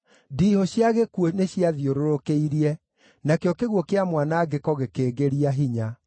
“Ndiihũ cia gĩkuũ nĩciathiũrũrũkĩirie; nakĩo kĩguũ kĩa mwanangĩko gĩkĩngĩria hinya.